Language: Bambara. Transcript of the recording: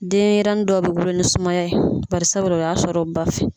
Denɲɛrɛnin dɔw bɛ wolo ni sumaya ye barisabu la o y'a sɔrɔ u ba fɛ.